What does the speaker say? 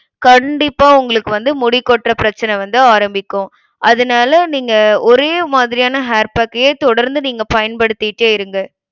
கண்டிப்பா உங்களுக்கு வந்து முடி கொட்ற பிரச்சனை வந்து ஆரம்பிக்கும். அதுனால நீங்க ஒரே மாதிரியான hair pack ஐயே தொடர்ந்து நீங்க பயன்படுத்திட்டே இருங்க.